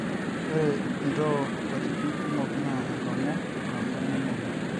oree ntoo nkatitin kumok na enkongu nabo namwoyu